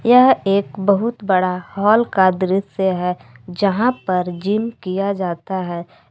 यह एक बहुत बड़ा हॉल का दृश्य है जहां पर जिम किया जाता है।